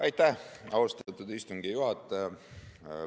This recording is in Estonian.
Aitäh, austatud istungi juhataja!